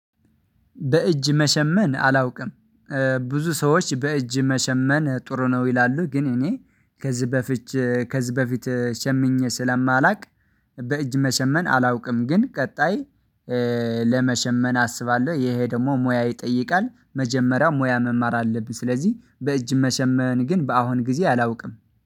በእጅ መሸመን አላውቅም። ብዙ ሰዎች በእጅ መሸመን ጥሩ ነው ይላሉ ግን እኔ ከዚህ በፊት ከዚህ በፊት ሸምኜ ስለማላውቅ በእጅ መሸመን አላውቅም። ግን ቀጣይ ለመሸመን አስባለሁ ይሄ ደግሞ ሙያ ይጠይቃል መጀመሪያ ሙያ መማር አለብኝ። ስለዚህ በእጅ መሸመን ግን በአሁን ጊዜ አላውቅም